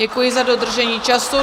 Děkuji za dodržení času.